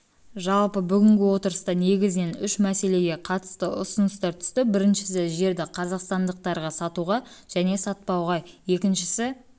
жалпы бүгінгі отырыста негізінен үш мәселеге қатысты ұсыныстар түсті біріншісі жерді қазақстандықтарға сатуға және сатпауға екіншісі